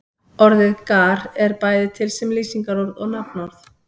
Orðið gar er bæði til sem lýsingarorð og nafnorð.